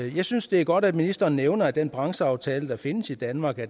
jeg synes det er godt at ministeren nævner at den brancheaftale der findes i danmark